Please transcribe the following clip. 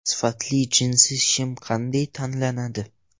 Sifatli jinsi shim qanday tanlanadi?.